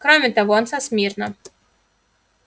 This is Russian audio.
кроме того он со смирно